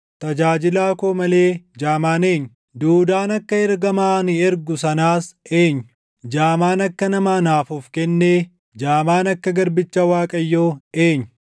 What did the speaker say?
Tajaajilaa koo malee jaamaan eenyu? Duudaan akka ergamaa ani ergu sanaas eenyu? Jaamaan akka nama anaaf of kennee, jaamaan akka Garbicha Waaqayyoo eenyu?